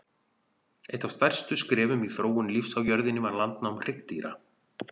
Eitt af stærstu skrefum í þróun lífs á jörðunni var landnám hryggdýra.